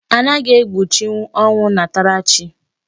Anaghị egbochinwu ọnwụ nnatarachi.